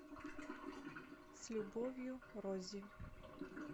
с любовью роззи